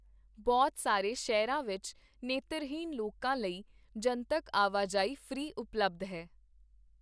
ਬਹੁਤ ਸਾਰੇ ਸ਼ਹਿਰਾਂ ਵਿੱਚ ਨੇਤਰਹੀਣ ਲੋਕਾਂ ਲਈ ਜਨਤਕ ਆਵਾਜਾਈ ਫ੍ਰੀ ਉਪਲਬਧ ਹੈ।